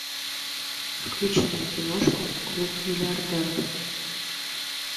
включи мне киношку клуб миллиардеров